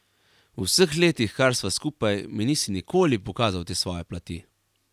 V vseh letih, kar sva skupaj, mi nisi nikoli pokazal te svoje plati.